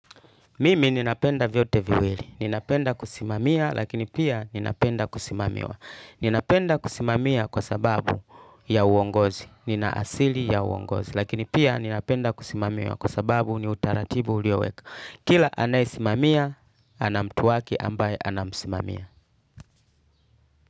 Mimi ninapenda vyote viwili. Ninapenda kusimamia lakini pia ninapenda kusimamiwa. Ninapenda kusimamia kwa sababu ya uongozi. Nina asili ya uongozi. Lakini pia ninapenda kusimamiwa kwa sababu ni utaratibu ulioweka. Kila anayesimamia, ana mtu wake ambaye anamsimamia.